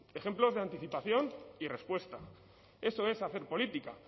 ejemplos de anticipación y respuesta eso es hacer política